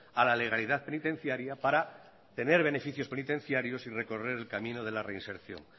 a la legalidad penitenciaria para tener beneficios penitenciarios y recorrer el camino de reinserción